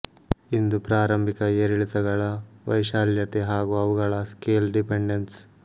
ಇಂದು ಪ್ರಾರಂಭಿಕ ಏರಿಳಿತಗಳ ವೈಶಾಲ್ಯತೆ ಹಾಗು ಅವುಗಳ ಸ್ಕೇಲ್ ಡಿಪೆಂಡೆನ್ಸ್